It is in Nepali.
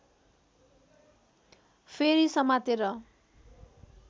फेरि समातेर